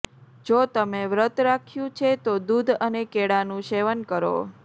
જો તમે વ્રત રાખ્યું છે તો દૂધ અને કેળાનું સેવન કરો